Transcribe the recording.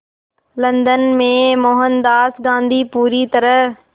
London में मोहनदास गांधी पूरी तरह